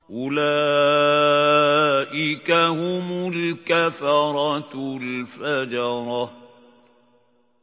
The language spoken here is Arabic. أُولَٰئِكَ هُمُ الْكَفَرَةُ الْفَجَرَةُ